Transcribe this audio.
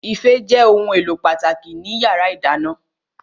Ife jẹ́ ohun èlò pàtàkì ní yàrá ìdáná